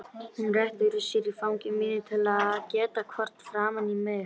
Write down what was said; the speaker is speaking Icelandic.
Hún rétti úr sér í fangi mínu til að geta horft framan í mig.